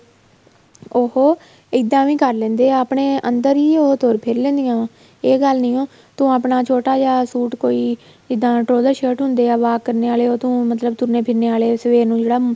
ਉਹ ਇੱਦਾਂ ਵੀ ਕਰ ਲੈਂਦੇ ਆ ਆਪਣੇ ਅੰਦਰ ਹੀ ਉਹ ਤੁਰ ਫ਼ਿਰ ਲੈਣੀਆਂ ਇਹ ਗੱਲ ਨਹੀਂ ਹੋ ਤੂੰ ਆਪਣਾ ਛੋਟਾ ਜਾ suit ਕੋਈ shirt ਹੁੰਦੇ ਏ walk ਕਰਨੇ ਆਲੇ ਉਹ ਤੂੰ ਮਤਲਬ ਤੁਰਨੇ ਫਿਰਨੇ ਆਲੇ ਸਵੇਰ ਨੂੰ ਜਿਹੜਾ